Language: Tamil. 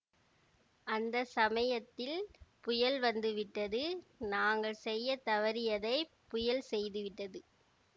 அந்த சமயத்தில் புயல் வந்து விட்டது நாங்கள் செய்ய தவறியதை புயல் செய்துவிட்டது